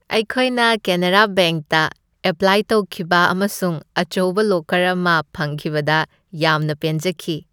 ꯑꯩꯈꯣꯏꯅ ꯀꯦꯅꯥꯔꯥ ꯕꯦꯡꯛꯇ ꯑꯦꯄ꯭ꯜꯥꯏ ꯇꯧꯈꯤꯕ ꯑꯃꯁꯨꯡ ꯑꯆꯧꯕ ꯂꯣꯀꯔ ꯑꯃ ꯐꯪꯈꯤꯕꯗ ꯌꯥꯝꯅ ꯄꯦꯟꯖꯈꯤ ꯫